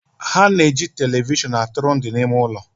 Ha na eji televishion atụrụ ndụ n'ime ụlọ